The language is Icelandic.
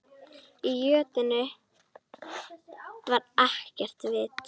Í jötunni var ekkert vit.